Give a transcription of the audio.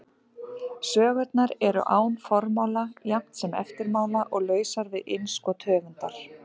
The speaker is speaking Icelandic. Sögurnar eru án formála jafnt sem eftirmála og lausar við innskot höfundar.